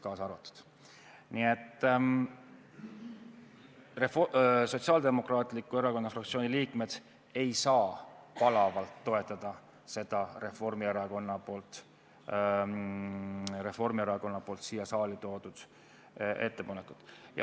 Sotsiaaldemokraatliku Erakonna fraktsiooni liikmed ei saa palavalt toetada seda Reformierakonna siia saali toodud ettepanekut.